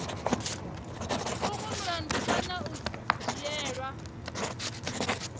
vhonwe mulandu kana u dzhielwa